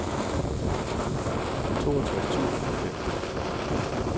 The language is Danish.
toogtres tusind og fem